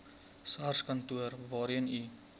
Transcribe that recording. sarskantoor waarheen u